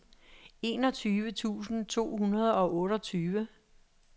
enogtyve tusind to hundrede og otteogtyve